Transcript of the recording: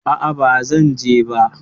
A'a, bazan je ba.